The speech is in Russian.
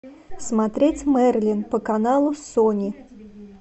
смотреть мерлин по каналу сони